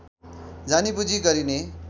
जानी बुझी गरिने